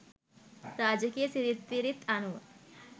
රාජකීය සිිරිත් විරිත් අනුව